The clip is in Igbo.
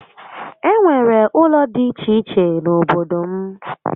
E nwere ụlọ dị iche iche n'obodo m